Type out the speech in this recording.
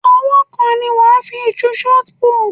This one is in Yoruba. Ọwọ́ kan ni wàá fi ju ṣọt púùtù.